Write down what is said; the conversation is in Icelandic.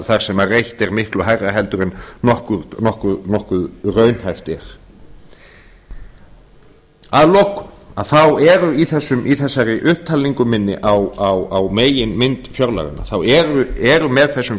þar sem reitt er miklu hærra heldur en nokkuð raunhæft er að lokum þá eru í þessari upptalningu minni á meginmynd fjárlaganna þá er með þessum